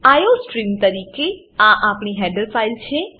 iostream તરીકે આ આપણી હેડર ફાઈલ છે